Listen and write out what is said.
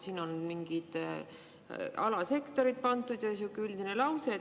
Siin on mingid alasektorid pandud ja sihuke üldine lause.